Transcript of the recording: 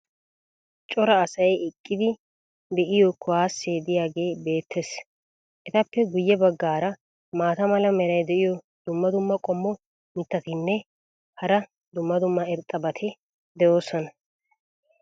cora asay eqqidi be'iyo kuwaasee diyaagee beetees. etappe guye bagaara maata mala meray diyo dumma dumma qommo mitattinne hara dumma dumma irxxabati de'oosona.